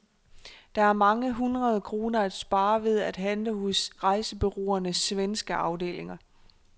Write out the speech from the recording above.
Der er mange hundrede kroner at spare ved at handle hos rejsebureauernes svenske afdelinger.